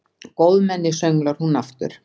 Góðmenni, sönglar hún aftur.